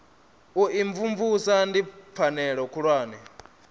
u imvumvusa ndi pfanelo khulwane